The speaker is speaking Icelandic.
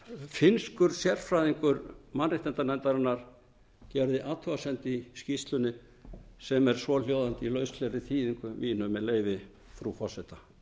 finnskur sérfræðingur mannréttindanefndarinnar gerði athugasemd í skýrslunni sem er svohljóðandi í lauslegri þýðingu minni með leyfi frú forseta